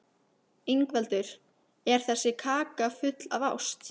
Ingveldur: Er þessi kaka full af ást?